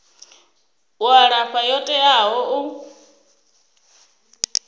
u alafha yo teaho u